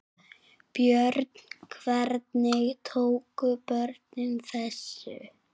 Björn: Hvernig tóku börnin þessu?